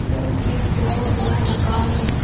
यह एक बहुत बड़ा दुकान है।